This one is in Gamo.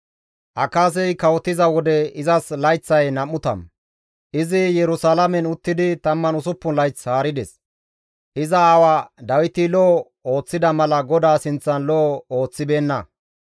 Akaazey kawotiza wode izas layththay 20; izi Yerusalaamen uttidi 16 layth haarides. Iza aawa Dawiti lo7o ooththida mala GODAA sinththan lo7o ooththibeenna.